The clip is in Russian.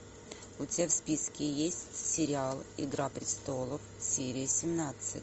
у тебя в списке есть сериал игра престолов серия семнадцать